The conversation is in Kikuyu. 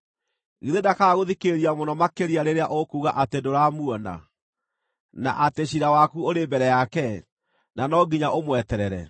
Githĩ ndakaaga gũthikĩrĩria mũno makĩria rĩrĩa ũkuuga atĩ ndũramuona, na atĩ ciira waku ũrĩ mbere yake, na no nginya ũmweterere,